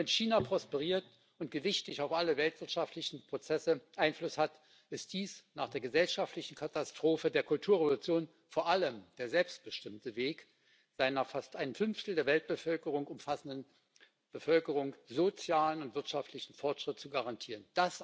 Wenn China prosperiert und gewichtig auf alle weltwirtschaftlichen Prozesse Einfluss hat, ist dies nach der gesellschaftlichen Katastrophe der Kulturrevolution vor allem der selbstbestimmte Weg, seiner fast ein Fünftel der Weltbevölkerung umfassenden Bevölkerung sozialen und wirtschaftlichen Fortschritt zu garantieren.